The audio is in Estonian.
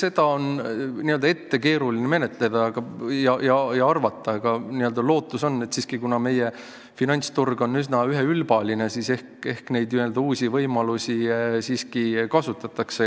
Seda on keeruline ette arvata, aga lootus on, et kuna meie finantsturg on üsna üheülbaline, siis ehk neid uusi võimalusi siiski kasutatakse.